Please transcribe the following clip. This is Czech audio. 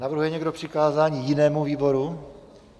Navrhuje někdo přikázání jinému výboru?